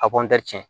A cɛn